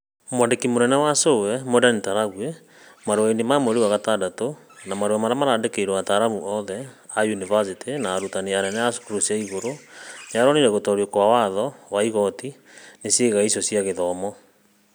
Mwandĩki mũnene wa CũE Mwenda Ntarangwi, marũainĩ ma mweri wa gatandatũ, na marũainĩ marĩa marandĩkĩirwo mataaramu othe a yunivacĩtĩ na arutani anene a cukuru cia igũrũ, nĩ onanirie gũtoorio kwa watho wa igooti nĩ ciĩga icio cia gĩthomo.